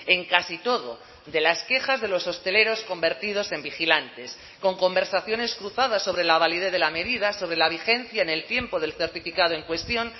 en casi todo de las quejas de los hosteleros convertidos en vigilantes con conversaciones cruzadas sobre la validez de la medida sobre la vigencia en el tiempo del certificado en cuestión